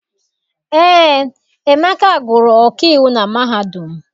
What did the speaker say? Eé, Emeka gụrụ ọkaiwu na mahadum